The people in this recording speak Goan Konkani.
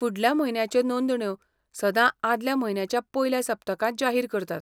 फुडल्या म्हयन्याच्यो नोंदण्यो सदां आदल्या म्हयन्याच्या पयल्या सप्तकांत जाहीर करतात.